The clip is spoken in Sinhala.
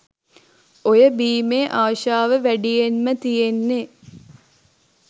ඔය බීමේ ආශාව වැඩියෙන්ම තියෙන්නේ